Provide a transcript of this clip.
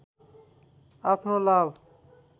आफ्नो लाभ